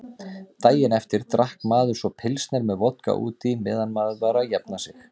Daginn eftir drakk maður svo pilsner með vodka útí meðan maður var að jafna sig.